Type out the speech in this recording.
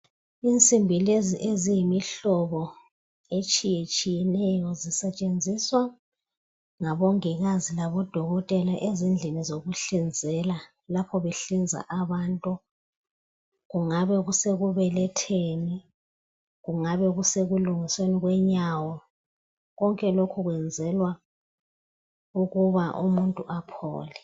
Insimbi lezi eziyimihlobo etshiyeneyo. Zisetshenziswa ngabongikazi labodokotela, ezindlini zokuhlinzela. Lapho behlinza abantu. Kungabe sekubeletheni, kungabe sekulungisweni kwenyawo. Konke lokhu, kwenzelwa ukuba, umuntu aphole.